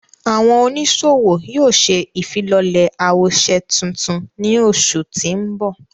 Àwọn onisowo yóò ṣe ifilọlẹ awoṣe tuntun ni oṣu ti nbọ.